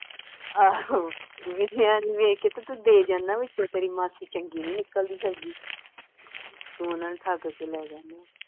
ਆਹੋ ਨਿੱਕਿਆਂ ਨੂੰ ਵੇਖ ਕੇ ਤੇ ਤੂੰ ਦੇ ਜਾਨਾ ਵਾਂ ਵਿੱਚੋਂ ਤੇਰੀ ਮਾਸੀ ਚੰਗੀ ਨਹੀਂ ਨਿਕਲਦੀ ਸਬਜੀ ਤੂੰ ਉਨ੍ਹਾਂ ਨੂੰ ਠੱਗ ਕੇ ਲੈ ਜਾਨਾ ਵਾਂ